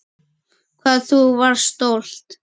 Hvað þú varst stolt.